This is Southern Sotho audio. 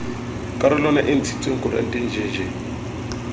karolwana e ntshitsweng koranteng jj